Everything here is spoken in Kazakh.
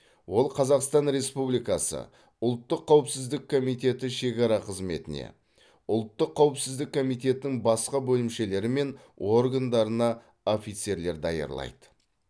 ол қазақстан республикасы ұлттық қауіпсіздік комитеті шекара қызметіне ұлттық қауіпсіздік комитетінің басқа бөлімшелері мен органдарына офицерлер даярлайды